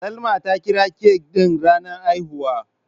Salma ta kira cake ɗin ranar haihuwa.